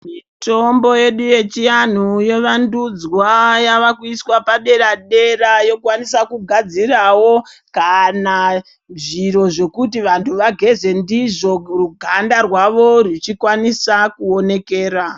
Mitombo yedu yechianhu yovandudzwa ,yavakuiswa padera-dera ,yokwanisa kugadzirawo kana zviro zvekuti vantu vageze ndizvo, ruganda rwavo rwuchukwanisa kuonekera.